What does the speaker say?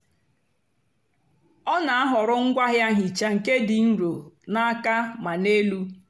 ọ na-àhọ̀rọ̀ ngwaáahịa nhịcha nké dị́ nro na àka mà n'elú.